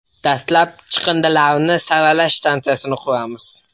Dastlab chiqindilarni saralash stansiyasini quramiz.